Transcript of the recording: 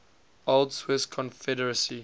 old swiss confederacy